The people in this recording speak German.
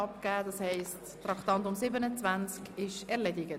Das heisst, das Traktandum 27 ist erledigt.